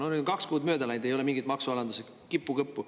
Nüüd on kaks kuud mööda läinud, ei ole mingist maksualandusest kippu ega kõppu.